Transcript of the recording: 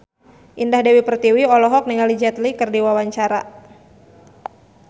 Indah Dewi Pertiwi olohok ningali Jet Li keur diwawancara